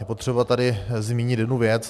Je potřeba tady zmínit jednu věc.